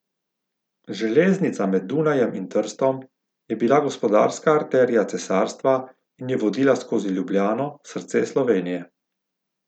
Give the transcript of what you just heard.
Železnica med Dunajem in Trstom je bila gospodarska arterija cesarstva in je vodila skozi Ljubljano, srce Slovenije.